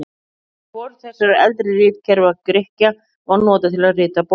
En hvorugt þessara eldri ritkerfa Grikkja var notað til að rita bókmenntir.